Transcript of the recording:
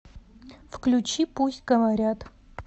включи пусть говорят